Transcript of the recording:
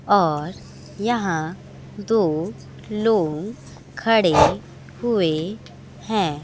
और यहां दो लोंग खड़े हुए हैं।